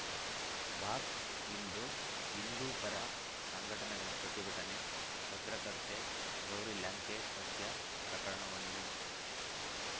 box ಇಂದು ಹಿಂದೂಪರ ಸಂಘಟನೆಗಳ ಪ್ರತಿಭಟನೆ ಪತ್ರಕರ್ತೆ ಗೌರಿ ಲಂಕೇಶ ಹತ್ಯೆ ಪ್ರಕರಣವನ್ನು